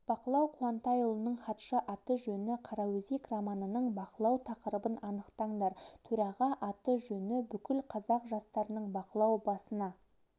бақылау қуантайұлының хатшы аты-жөні қараөзек романының бақылау тақырыбын анықтаңдар төраға аты-жөні бүкіл қазақ жастарының бақылау басына